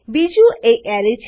બીજું એ એરે છે